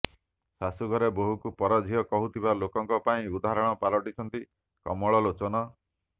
ଶାଶୁଘରେ ବୋହୂକୁ ପର ଝିଅ କହୁଥିବା ଲୋକଙ୍କ ପାଇଁ ଉଦାହରଣ ପାଲଟିଛନ୍ତି କମଳଲୋଚନ